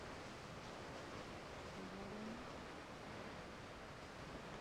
борнмут